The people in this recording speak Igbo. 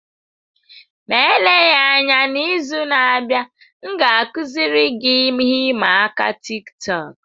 Ma eleghị anya, n'izu na-abịa, m ga-akụziri gị ihe ịma aka Tiktọk.